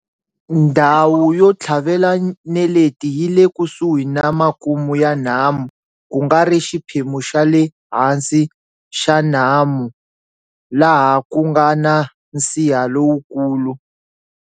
Ndhawu yo tlhavela neleta yi le kusuhi na makumu ya nhamu ku nga ri xiphemu xa le hansi xa nhamu laha ku nga na nsiha lowukulu.